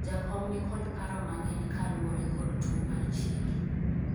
jakom nikod paro mang'eny kaluwore kod tuo mar chiegi